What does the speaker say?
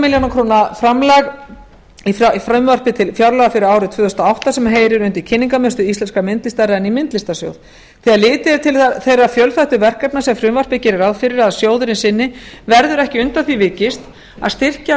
milljónir króna framlag í frumvarpi til fjárlaga fyrir árið tvö þúsund og átta sem heyrir undir kynningarmiðstöð íslenskrar myndlistar renni í myndlistarsjóð þegar litið er til þeirra fjölþættu verkefna sem frumvarpið gerir ráð fyrir að sjóðurinn sinni verður ekki undan því vikist að styrkja